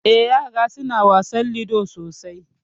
Eh ƴara suna wasan ludo sosai.